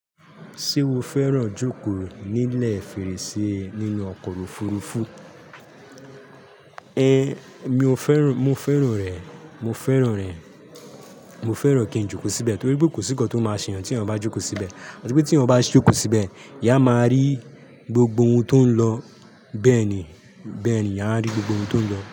Ṣé o fẹ́ràn jókòó nílẹ̀ fèrèsé nínú ọkọ̀ òfurufú? Ẹn, mi ò fẹ́ràn, mo fẹ́ràn rẹ̀, mo fẹ́ràn rẹ̀, mo fẹ́ràn kí n jókòó síbẹ̀ torí pé kò sí nǹkan tó máa ṣeyan ti eyan ba jókòó síbẹ̀. Torí pé tí ẹyan bá jókòó síbẹ̀, eyan a máa rí gbogbo ohun tó ń lọ. Bẹ́ẹ̀ ni, bẹ́ẹ̀ ni, ìyán rí gbogbo ohun tó ń lọ.